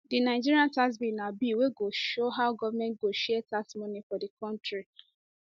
di nigerian tax bill na bill wey go show how goment go share tax money for di kontri